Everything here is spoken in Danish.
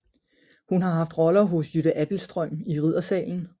Hun har haft roller hos Jytte Abildstrøm i Riddersalen